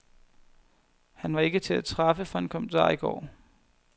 Han var ikke til at træffe for en kommentar i går.